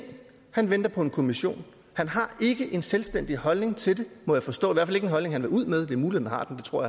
han venter på en kommission han har ikke en selvstændig holdning til det må jeg forstå i hvert fald ikke en holdning han vil ud med det er muligt han har den det tror